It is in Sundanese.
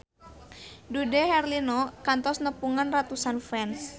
Dude Herlino kantos nepungan ratusan fans